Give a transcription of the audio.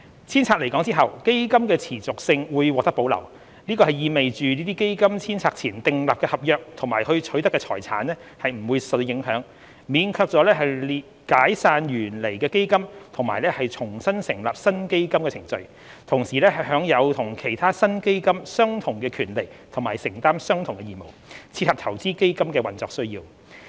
遷冊來港後，基金的持續性會獲得保留，這意味着在基金遷冊前訂立的合約及取得的財產不會受到影響，免卻了解散原來的基金並重新成立新基金的程序，同時享有與其他新基金相同的權利和承擔相同的義務，切合投資基金的運作需要。